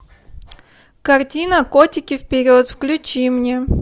картина котики вперед включи мне